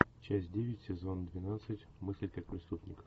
часть девять сезон двенадцать мыслить как преступник